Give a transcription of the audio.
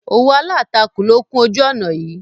Òwú Aláàtakù ló kún ojú ọ̀ná yìí.